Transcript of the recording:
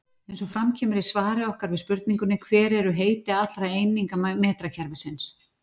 Eins og fram kemur í svari okkar við spurningunni Hver eru heiti allra eininga metrakerfisins?